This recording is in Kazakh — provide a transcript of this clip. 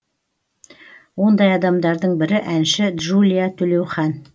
ондай адамдардың бірі әнші джулия төлеухан